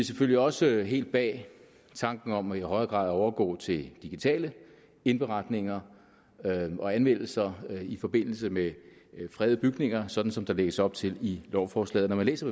selvfølgelig også helt bag tanken om i højere grad at overgå til digitale indberetninger og anmeldelser i forbindelse med fredede bygninger sådan som der lægges op til i lovforslaget når man læser